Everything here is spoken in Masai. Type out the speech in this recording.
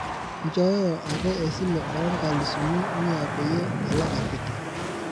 inchoyoyo ake esile oo nkalisuni mia peyie alaak akiti